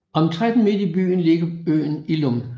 Omtrent midt i bugten ligger øen Illum